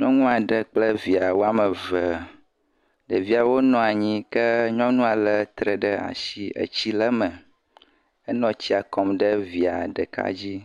Nyɔnu aɖe kple evia woame eve, ɖeviawo nɔ anyi, ke nyɔnua lé tre ɖe asi, etsi le me, enɔ tsia kɔm ɖe via ɖeka dzi,